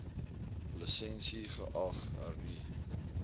lisensie geag hernu